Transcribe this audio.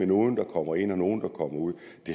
nogle der kommer ind og nogle der kommer ud